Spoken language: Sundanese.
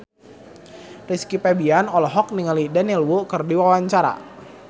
Rizky Febian olohok ningali Daniel Wu keur diwawancara